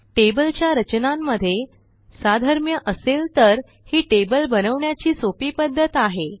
टेबलच्या रचनांमध्ये साधर्म्य असेल तर ही टेबल बनवण्याची सोपी पध्दत आहे